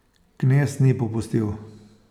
Knez ni popustil.